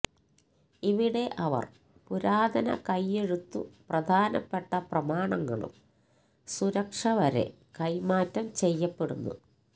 ഇവിടെ അവർ പുരാതന കൈയെഴുത്തു പ്രധാനപ്പെട്ട പ്രമാണങ്ങളും സുരക്ഷ വരെ കൈമാറ്റം ചെയ്യപ്പെടുന്നു